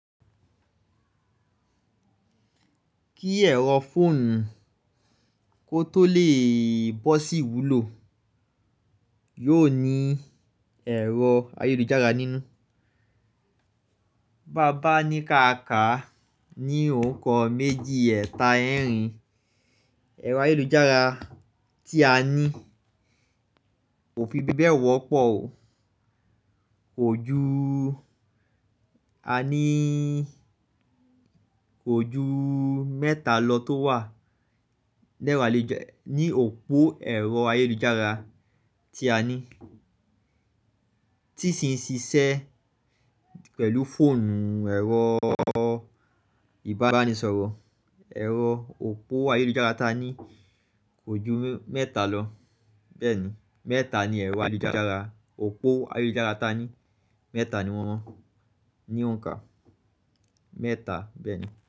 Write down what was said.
Kí ẹ̀rọ fóònù kó tó lè bọ́ sí wúlò, yóò ní ẹ̀rọ ayélujára nínú. Bàbá ní káàkà ní òǹkà méjì ẹ̀ta ẹ̀rin ẹ̀rọ ayélujára tí a ní. Kò fi bébẹ̀ wọ́pọ̀ o. Kò ju a ní, kò ju mẹ́ta lọ tó wà. Lẹ́ra lè jẹ́ ní òpó ẹ̀rọ ayélujára tí a ní. Tí sì ń ṣiṣẹ́ pẹ̀lú fóònù ẹ̀rọ ìbánisọ̀rọ̀. Ẹ̀rọ òpó ayélujára ta ní kò ju mẹ́ta lọ. Bẹ́ẹ̀ ni, mẹ́ta ni ẹ̀rọ ayélujára, òpó ayélujára ta ní. Mẹ́ta ni wọ́n ní òǹkà. Mẹ́ta bẹ́ẹ̀ ni.